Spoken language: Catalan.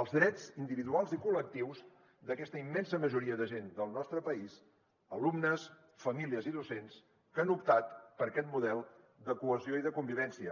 els drets individuals i col·lectius d’aquesta immensa majoria de gent del nostre país alumnes famílies i docents que han optat per aquest model de cohesió i de convivència